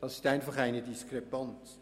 Das ist einfach eine Diskrepanz.